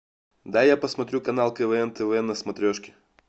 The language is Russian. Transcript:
дай я посмотрю канал квн тв на смотрешке